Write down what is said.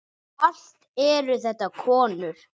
Allt eru þetta konur.